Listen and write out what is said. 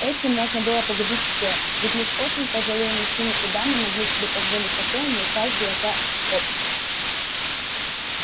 этим можно было погубить всё ведь лишь очень пожилые мужчины и дамы могли себе позволить такое не упав в глаза обществу